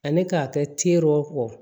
Ani k'a kɛ teriw kɔ